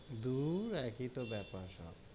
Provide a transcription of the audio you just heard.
দূর একি তো বেপার সব.